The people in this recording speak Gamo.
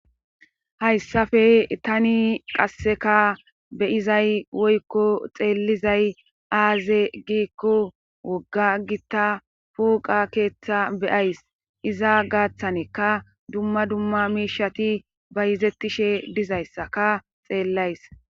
Hayssafe tani qasseka beyizay woykko xeellizay aaze giikko wogga gitta puuqa keeththa beyays iza gaaththaneka dumma dumma miishati ba yizettishe dizayssaka xeellays.